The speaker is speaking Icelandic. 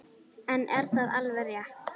En er það alveg rétt?